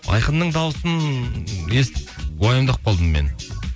айқынның даусын естіп уайымдап қалдым мен